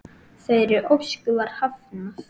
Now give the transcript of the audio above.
Þeirri ósk var hafnað.